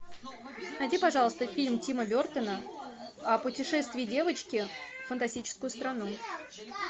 найди пожалуйста фильм тима бертона о путешествии девочки в фантастическую страну